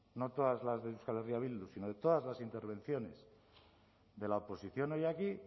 no todas las de euskal herria bildu sino de todas las intervenciones de la oposición hoy aquí